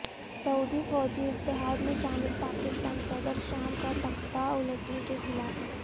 سعودی فوجی اتحاد میں شامل پاکستان صدر شام کا تختہ الٹنے کے خلاف